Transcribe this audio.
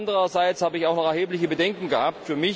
Andererseits habe ich auch noch erhebliche Bedenken gehabt.